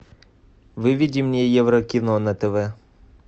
выведи мне еврокино на тв